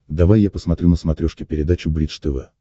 давай я посмотрю на смотрешке передачу бридж тв